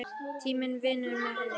Tíminn vinnur með henni.